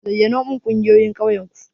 Zayyanomin ƙungiyoyin ƙauyen ku.